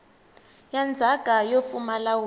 ya ndzhaka yo pfumala wili